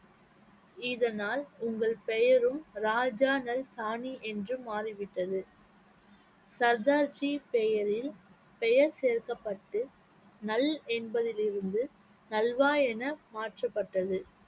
இதனால் உங்கள் பெயரும் ராஜாநல் சாணி என்று மாறிவிட்டது சர்தார்ஜி பெயரில் பெயர் சேர்க்கப்பட்டு நல் என்பதிலிருந்து நல்வா என மாற்றப்பட்டது